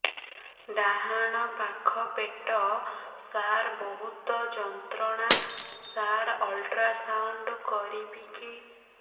ଡାହାଣ ପାଖ ପେଟ ସାର ବହୁତ ଯନ୍ତ୍ରଣା ସାର ଅଲଟ୍ରାସାଉଣ୍ଡ କରିବି କି